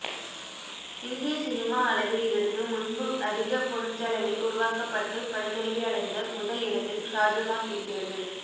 இந்திய சினிமா அளவில் இதற்கு முன்பு அதிக பொருட்செலவில் உருவாக்கப்பட்டு படுதோல்வி அடைந்த முதல் இடத்தில் ஷாஜகான் இருக்கிறது